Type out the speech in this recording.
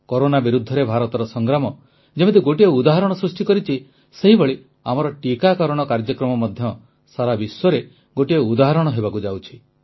corona ବିରୁଦ୍ଧରେ ଭାରତର ସଂଗ୍ରାମ ଯେମିତି ଗୋଟିଏ ଉଦାହରଣ ସୃଷ୍ଟି କରିଛି ସେହିଭଳି ଆମର ଟିକାକରଣ କାର୍ଯ୍ୟକ୍ରମ ମଧ୍ୟ ସାରା ବିଶ୍ୱରେ ଗୋଟିଏ ଉଦାହରଣ ହେବାକୁ ଯାଉଛି